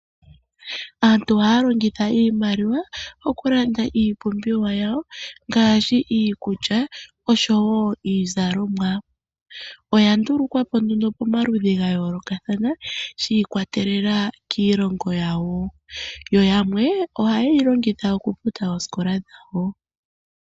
Aantu ohaya longitha iimaliwa okulanda iipumbiwa yawo ngaashi iikulya osho wo iizalomwa. Oya ndulukwa po nduno pomaludhi ga yoolokathana shi ikwatelela kiilongo yawo. Yo yamwe ohaye yi longitha okufuta oosikola dhawo.